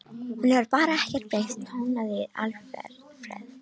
Hún hefur bara ekkert breyst tónaði Alfreð.